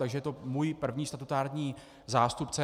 Takže je to můj první statutární zástupce.